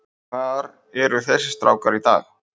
Hvar eru þessir strákar í dag?